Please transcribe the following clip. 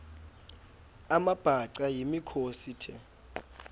amabhaca yimikhosi the